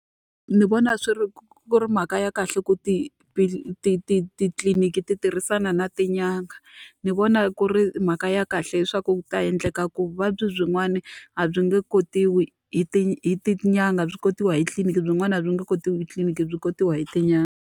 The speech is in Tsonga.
Ndzi vona swi ri ku ri mhaka ya kahle ku titliliniki ti tirhisana na tin'anga. Ni vona ku ri mhaka ya kahle leswaku ku ta endleka ku vuvabyi byin'wana a byi nge kotiwi hi hi Tin'anga, byi kotiwa hi tliliniki, byin'wana a byi nge kotiwi hi tliliniki byi kotiwa hi tin'anga.